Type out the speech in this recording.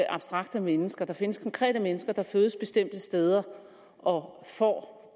abstrakte mennesker der findes konkrete mennesker der fødes bestemte steder og får